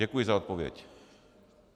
Děkuji za odpověď.